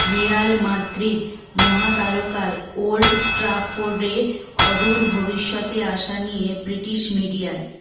Real Madrid মহাতারকার Old ট্র্যাফোর্ডে অদূর ভবিষ্যতে আসা নিয়ে ব্রিটিশ মিডিয়ার